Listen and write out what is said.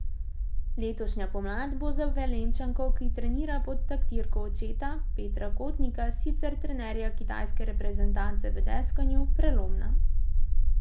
Letošnja pomlad bo za Velenjčanko, ki trenira pod taktirko očeta, Petra Kotnika, sicer trenerja kitajske reprezentance v deskanju, prelomna.